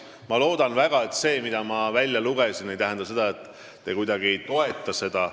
Ma loodan väga, et see, mida ma siit välja lugesin, ei tähenda, et te ei toeta seda.